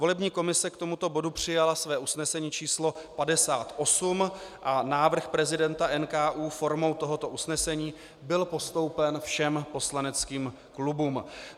Volební komise k tomuto bodu přijala své usnesení číslo 58 a návrh prezidenta NKÚ formou tohoto usnesení byl postoupen všem poslaneckým klubům.